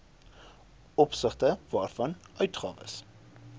opsigte waarvan uitgawes